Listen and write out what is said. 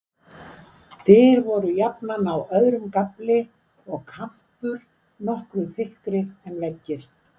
Dyr voru jafnan á öðrum gafli, og kampur nokkru þykkri en veggir.